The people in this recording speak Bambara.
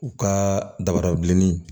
U ka dabara bilenni